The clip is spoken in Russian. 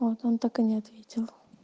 вот он так и не ответил